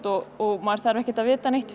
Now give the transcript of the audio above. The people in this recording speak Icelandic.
og maður þarf ekki að vita neitt